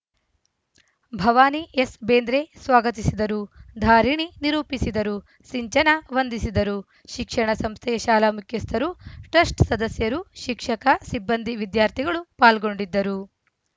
Bhavani S Bendre ಸ್ವಾಗತಿಸಿದರು ಧಾರಿಣಿ ನಿರೂಪಿಸಿದರು ಸಿಂಚನ ವಂದಿಸಿದರು ಶಿಕ್ಷಣ ಸಂಸ್ಥೆಯ ಶಾಲಾ ಮುಖ್ಯಸ್ಥರು ಟ್ರಸ್ಟ್‌ ಸದಸ್ಯರು ಶಿಕ್ಷಕ ಸಿಬ್ಬಂದಿ ವಿದ್ಯಾರ್ಥಿಗಳು ಪಾಲ್ಗೊಂಡಿದ್ದರು